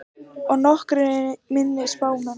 Og nokkrir minni spámenn.